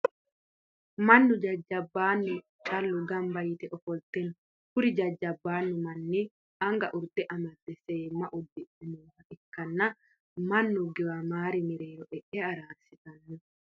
Mannu jajjabaannu callu gamba yite ofolte no. Kuri jajjabaannu manni anga urde amadde seemma uddidhe nooha ikkanna mannu giwamir mereero e'e araarsitanno.